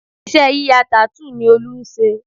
Iṣẹ́ yíya tattoo ni Olú ń se